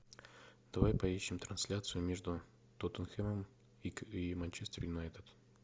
давай поищем трансляцию между тоттенхэмом и манчестер юнайтед